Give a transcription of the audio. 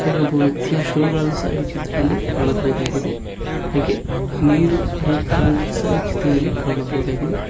ಈಗ್ ಒಬ್ಬ ವ್ಯಕ್ತಿಯ ಶೂ ಗಳನ್ನು ಸಹ ಈ ಚಿತ್ರದಲ್ಲಿ ಕಾಣಬಹುದಾಗಿದೆ ಹಾಗೆ ನೀರು ಹರಿಯುತ್ತಿರುವ ಸಹ ಈ ಚಿತ್ರದಲ್ಲಿ ಕಾಣಬಹುದಾಗಿದೆ.